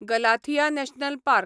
Galathea national park